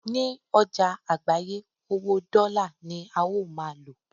ní ọjà àgbáyé, owó dọ́là ní a ó ma lò